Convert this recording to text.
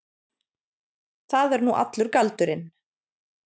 Það er nú allur galdurinn.